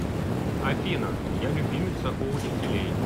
афина я любимица у учителей